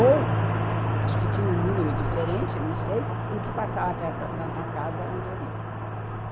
Ou, acho que tinha um número diferente, não sei, um que passava perto da Santa Casa, onde eu ia.